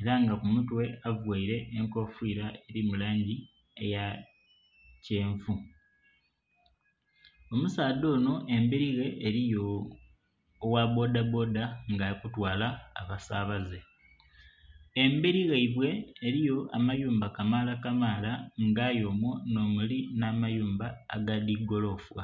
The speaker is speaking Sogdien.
era nga ku mutwe avaire enkofira eri mu langi eya kyenvu. Omusaadha onho emberi ghe eriyo ogha bboda bboda nga ali kutwala abasabaze, emberi ghaibwe eriyo amayumba kamaala kamaala nga aye omwo nho muli amayumba aga dhi golofa.